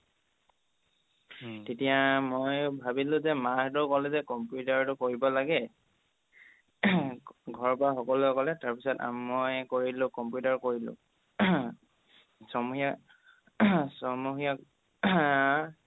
তেতিয়া মই ভাবিলো যে মাহঁতেও ক'লে যে computer টো কৰিব লাগে ঘৰৰ পৰা সকলোৱে ক'লে তাৰপিছত মই কৰিলো computer কৰিলো ছমহীয়া ছমহীয়া